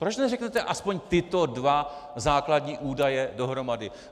Proč neřeknete aspoň tyto dva základní údaje dohromady?